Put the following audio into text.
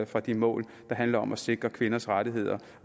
fra de mål der handler om at sikre kvinders rettigheder